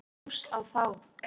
Hrós á þá!